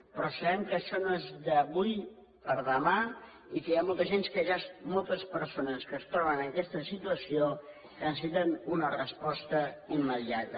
però sabem que això no és d’avui per demà i que hi ha moltes persones que es troben en aquesta situació que necessiten una resposta immediata